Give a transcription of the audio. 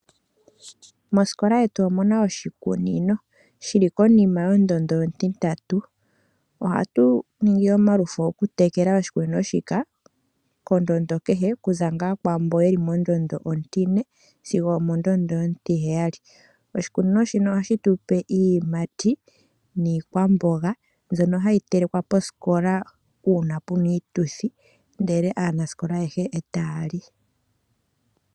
Mosikola yetu omuna oshikunino shili konima yondondo ontintatu. Ohatu ningi omalufo okutekela oshikunino shika kondondo kehe, okuza ngaa kwaamboka yeli mondondo ontine sigo omondondo ontiheyali. Oshikunino shino ohashi tupe iiyimati niikwamboga mbyono hayi telekwa posikola uuna pena iituthi, ndele aanasikola ayehe e taya li.